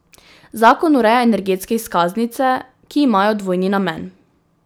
Zakon ureja energetske izkaznice, ki imajo dvojni namen.